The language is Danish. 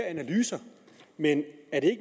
analyser men er det